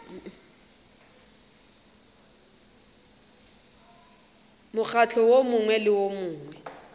mokgatlo wo mongwe le wo